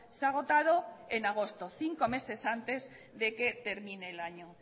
se ha agotado en agosto cinco meses antes de que termine el año